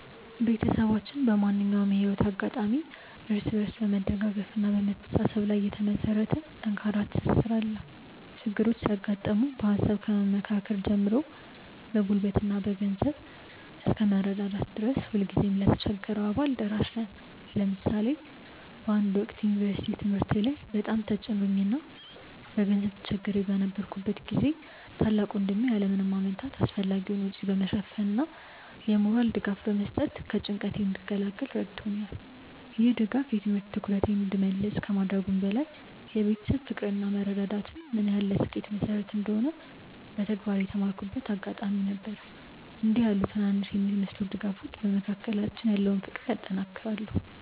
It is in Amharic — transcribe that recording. ቤተሰባችን በማንኛውም የህይወት አጋጣሚ እርስ በርስ በመደጋገፍና በመተሳሰብ ላይ የተመሰረተ ጠንካራ ትስስር አለው። ችግሮች ሲያጋጥሙ በሃሳብ ከመመካከር ጀምሮ በጉልበትና በገንዘብ እስከ መረዳዳት ድረስ ሁልጊዜም ለተቸገረው አባል ደራሽ ነን። ለምሳሌ በአንድ ወቅት በዩኒቨርሲቲ ትምህርቴ ላይ በጣም ተጭኖኝ እና በገንዘብ ተቸግሬ በነበረበት ጊዜ ታላቅ ወንድሜ ያለ ምንም ማመንታት አስፈላጊውን ወጪ በመሸፈን እና የሞራል ድጋፍ በመስጠት ከጭንቀቴ እንድገላገል ረድቶኛል። ይህ ድጋፍ የትምህርት ትኩረቴን እንድመልስ ከማድረጉም በላይ የቤተሰብ ፍቅር እና መረዳዳት ምን ያህል ለስኬት መሰረት እንደሆነ በተግባር የተማርኩበት አጋጣሚ ነበር። እንዲህ ያሉ ትናንሽ የሚመስሉ ድጋፎች በመካከላችን ያለውን ፍቅር ያጠናክራሉ።